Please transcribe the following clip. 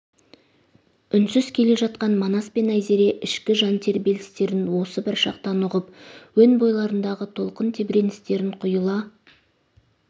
үнсіз келе жатқан манас пен айзере ішкі жан тербелістерін осы бір шақтан ұғып өн бойларындағы толқын тебіреністерін құйыла